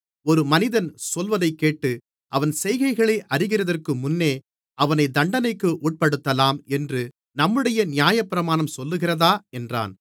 ஒரு மனிதன் சொல்வதைக் கேட்டு அவன் செய்கைகளை அறிகிறதற்கு முன்னே அவனைத் தண்டனைக்கு உட்படுத்தலாம் என்று நம்முடைய நியாயப்பிரமாணம் சொல்லுகிறதா என்றான்